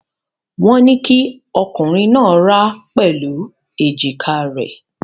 Wọ́n ní kí ọkùnrin náà rá pẹ̀lú èjìká rẹ̀.